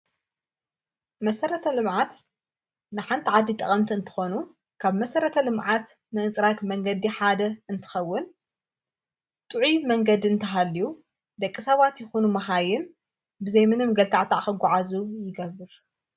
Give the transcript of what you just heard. መሠረተ ልምዓት ንሓንቲ ዓዲ ጠቐምቲ እንተኾኑ ካብ መሠረተ ልምዓት ምእንጽራኽ መንገዲ ሓደ እንትኸውን ጥዑ መንገዲ እንተሃልዩ ደቂ ሳባት ይኹኑ መኻይን ብዘይምነም ገልካዕታዕ ኸጕዓዙ ይገብር::